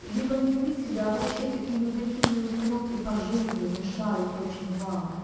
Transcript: либо не любить тебя вообще какие негативные установки по жизни мешают очень вам